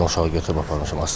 Ordan uşağı götürüb apardım.